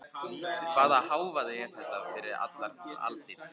Hvaða hávaði er þetta fyrir allar aldir?